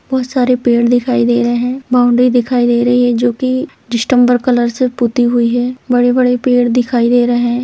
बहुत सारे पेड़ दिखाई दे रहे हैं बाउंड्री दिखाई दे रही है जो की डिस्टेम्पर कलर से पुती हुई है बड़े-बड़े पेड़ दिखाई दे रहे हैं।